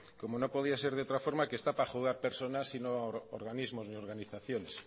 como no podía ser de otra forma que está para juzgar personas y no organismos ni organizaciones